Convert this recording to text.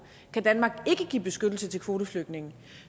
kan danmark ikke give beskyttelse til kvoteflygtninge